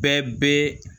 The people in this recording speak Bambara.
Bɛɛ bɛ